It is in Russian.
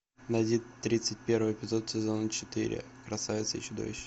найди тридцать первый эпизод сезона четыре красавица и чудовище